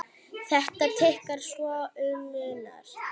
Þetta tikkar svo um munar!